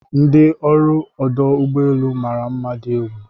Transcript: ndi ọrụ ọdụ ụgbọ elu mara mma di egwu